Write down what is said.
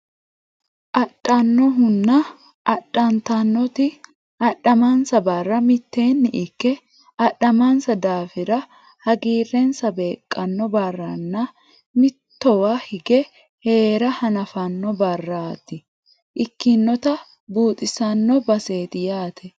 Adhannohunna adhantannoti adhamansa barra mitteenni ikke adhamansa daafira hagiirrensa beeqqanno barranna mittowa hige heera hanafanno barta ikkinota buuxisanno baseeti yaate.